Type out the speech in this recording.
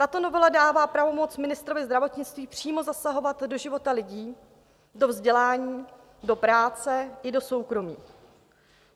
Tato novela dává pravomoc ministrovi zdravotnictví přímo zasahovat do života lidí, do vzdělání, do práce i do soukromí.